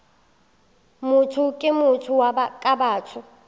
motho ke motho ka batho